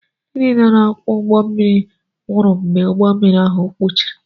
Ndị niile na-akwọ ụgbọ mmiri nwụrụ mgbe ụgbọ mmiri ahụ kpuru